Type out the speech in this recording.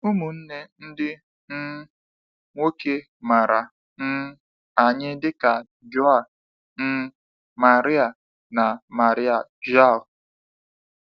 Ụmụnne ndị um nwoke mara um anyị dịka João um Maria na Maria João.